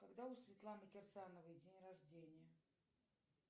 когда у светланы кирсановой день рождения